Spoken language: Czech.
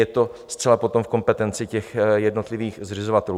Je to zcela potom v kompetenci těch jednotlivých zřizovatelů.